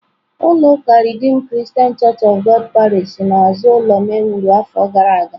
Ulọ uká redeem Christian Church of God parish n'azụ ụlọ m e wuru afọ gara aga